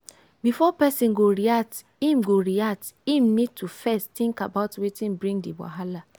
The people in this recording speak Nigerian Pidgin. before person go react im go react im need to first think about wetin bring di wahala